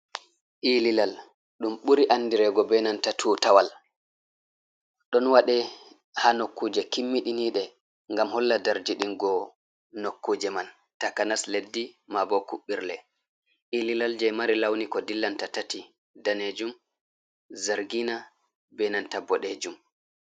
Ililal, ɗum buri andirego be nanta tutawal, ɗon waɗe ha nokkuje kimmiɗiniɗe ngam holla darjidingo nokkuje man, takanas leddi maɓɓe kuɓɓirle. Ililal je mari lawni ko dillanta tati danejum, zargina, be nanta boɗejum.